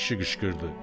kişi qışqırdı: